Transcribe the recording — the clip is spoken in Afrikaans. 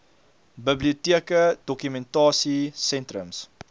biblioteke dokumentasie sentrums